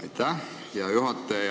Aitäh, hea juhataja!